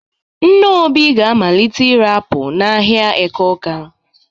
Nne Obi ga-amalite ire apụl n'ahịa Eke Ọ́ká.